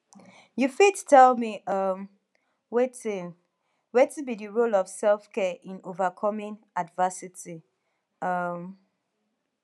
you fit tell me um wetin wetin be di role of selfcare in overcoming adversity um